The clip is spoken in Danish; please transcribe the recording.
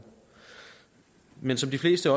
men som de fleste